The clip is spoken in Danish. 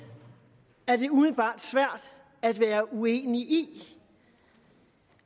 er det umiddelbart svært at være uenig i